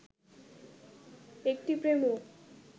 একটি প্রেমও